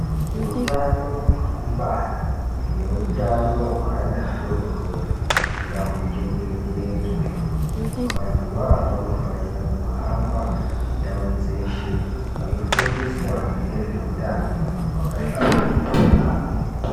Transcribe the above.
Hutano hwekubara nehutano hwevana vadodori ngahuchengetedzwe vantu vawo vanofanira kuhamba ndau dzeshe veifundiswa Ngezvehutano wakahlamburika yambo.